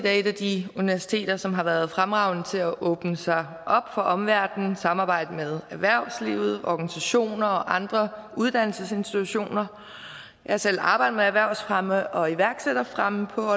er et af de universiteter som har været fremragende til at åbne sig for omverdenen samarbejde med erhvervslivet organisationer og andre uddannelsesinstitutioner jeg har selv arbejdet med erhvervsfremme og iværksætterfremme på